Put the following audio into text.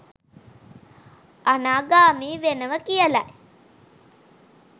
අනාගාමී වෙනවා කියලයි.